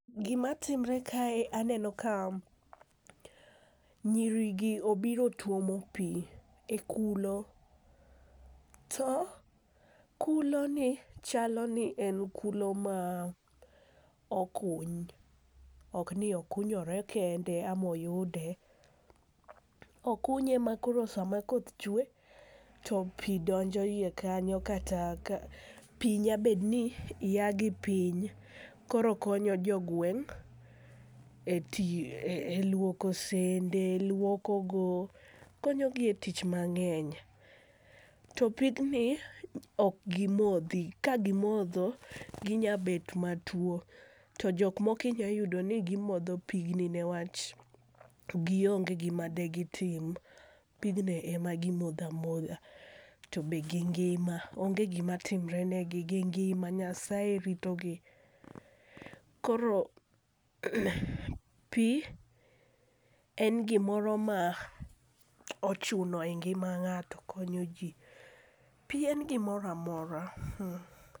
Gimatimre kae aneno ka nyirigi obiro tuomo pi e kulo, to kuloni chalo ni en kulo ma okuny, ok ni okunyore kende ama oyude. Okunye makoro sama koth chwe, to pi donjo iye kanyo kata ka pi nya betni ya gipiny koro konyo jogweng' e lwoko sende, lwokogo, konyogi e tich mang'eny. To pigni, ok gimodhi. Ka gimodho, ginya bet matuwo, to jok moko inya yudoni gimodho pigni nikech gionge gima degitim, pigni ema gimodho amodha, tobe gingima, onge gimatimre negi, gingima, Nyasaye ritogi. Koro pi en gimoro ma ochuno e ngima ng'ato, konyoji, pi en gimoro amora.